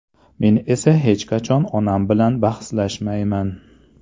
Men esa hech qachon onam bilan bahslashmayman”.